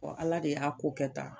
Ala de y'a ko kɛ tan